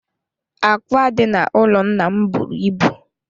Ákwá dị n'ụlọ nna m buru ibu.